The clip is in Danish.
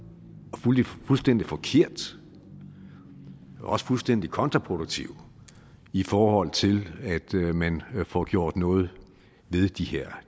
og fuldstændig forkert også fuldstændig kontraproduktiv i forhold til at man får gjort noget ved de her